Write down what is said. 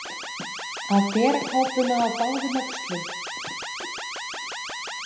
Að bera kápuna á báðum öxlum